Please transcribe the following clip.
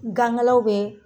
Gan kela bɛ.